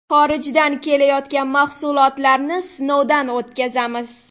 Xorijdan kelayotgan mahsulotlarni sinovdan o‘tkazamiz.